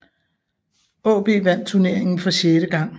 AaB vandt turneringen for sjette gang